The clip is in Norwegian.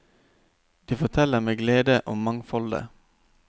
De forteller med glede om mangfoldet.